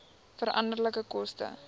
veranderlike koste